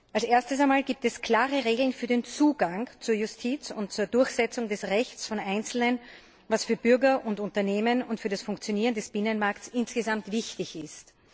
Als Erstes gibt es klare Regeln für den Zugang zur Justiz und zur Durchsetzung des Rechts von Einzelnen, was für Bürger, Unternehmen und für das Funktionieren des Binnenmarkts insgesamt wichtig ist.